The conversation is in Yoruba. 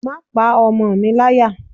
Má pa ọmọ mi láyà.